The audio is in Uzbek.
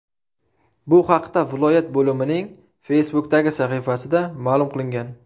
Bu haqda viloyat bo‘limining Facebook’dagi sahifasida ma’lum qilingan .